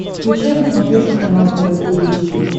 включай на смотрешке канал тв три эйч ди